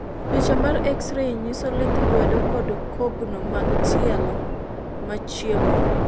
picha mar x ray nyiso lith lwedo kod kogno mag tielo ma chieko